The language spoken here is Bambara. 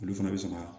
Olu fana bɛ sɔn ka